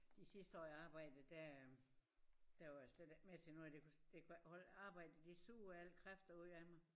De sidste år jeg arbejdede der der var jeg slet ikke med til noget af det for det kunne jeg ikke holde arbejdet det sugede alle kræfter ud af mig